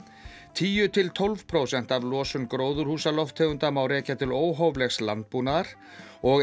tíu til tólf prósent af losun gróðurhúsalofttegunda má rekja til óhóflegs landbúnaðar og